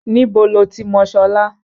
Níbo lo ti mọ Ṣọlá?